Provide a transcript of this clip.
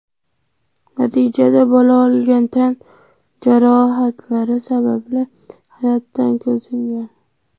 Natijada bola olgan tan jarohatlari sababli hayotdan ko‘z yumgan.